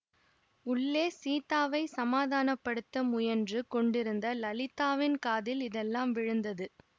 உள்ளே சீதாவைச் சமாதனப்படுத்த முயன்று கொண்டிருந்த லலிதாவின் காதில் இதெல்லாம் விழுந்தது